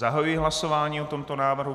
Zahajuji hlasování o tomto návrhu.